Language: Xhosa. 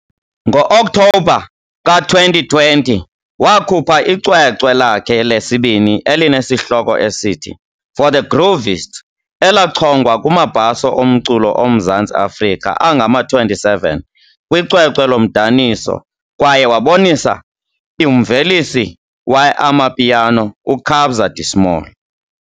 Ngo-Okthobha ka-2020, wakhupha icwecwe lakhe lesibini elinesihloko esithi, For The Groovists, elachongwa kumaBhaso oMculo oMzantsi Afrika angama-27 kwicwecwe lomdaniso kwaye wabonisa umvelisi we-amapiano uKabza De Small.